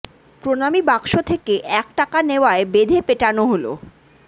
প্রণামী বাক্স থেকে এক টাকা নেওয়ায় বেঁধে পেটানো হল